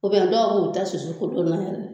O bɛ la dɔw b'u ta susu kolon na yɛrɛ.